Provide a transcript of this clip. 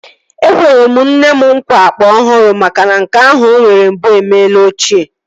Ekwere m nne m nkwa akpa ọhụrụ makana nke ahụ o nwere mbụ emela ochie